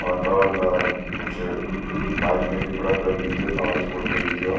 और बगल मा कुछ बाईक भी लगीं बुलट लगी च और स्कूटी लगी च य।